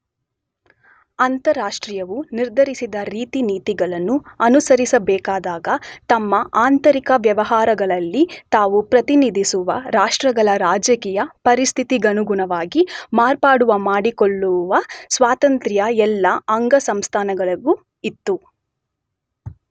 ಅಂತಾರಾಷ್ಟ್ರೀಯವು ನಿರ್ಧರಿಸಿದ ರೀತಿನೀತಿಗಳನ್ನು ಅನುಸರಿಸಬೇಕಾದಾಗ ತಮ್ಮ ಆಂತರಿಕ ವ್ಯವಹಾರಗಳಲ್ಲಿ, ತಾವು ಪ್ರತಿನಿಧಿಸುವ ರಾಷ್ಟ್ರಗಳ ರಾಜಕೀಯ ಪರಿಸ್ಥಿತಿಗನುಗುಣವಾಗಿ ಮಾರ್ಪಾಡು ಮಾಡಿಕೊಳ್ಳುವ ಸ್ವಾತಂತ್ರ್ಯ ಎಲ್ಲ ಅಂಗಸಂಸ್ಥೆಗಳಿಗೂ ಇತ್ತು.